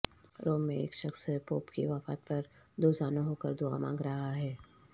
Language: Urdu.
روم میں ایک شخص پوپ کی وفات پر دوزانوں ہو کر دعا مانگ رہا ہے